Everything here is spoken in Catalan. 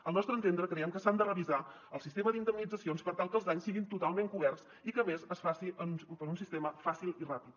al nostre entendre creiem que s’ha de revisar el sistema d’indemnitzacions per tal que els danys siguin totalment coberts i que a més es faci per un sistema fàcil i ràpid